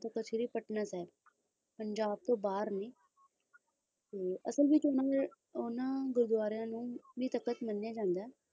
ਤਖ਼ਤ ਸ੍ਰੀ ਪਟਨਾ ਸਾਹਿਬ ਤੋਂ ਪੰਜਾਬ ਤੋਂ ਬਾਹਰ ਅਸਲ ਵਿਚ ਉਨ੍ਹਾਂ ਨੇ ਗੁਰਦੁਆਰਿਆਂ ਨੂੰ ਵੀ ਤਖ਼ਤ ਮੰਨੇ ਜਾਂਦੇ